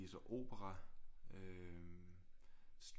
Viser opera øh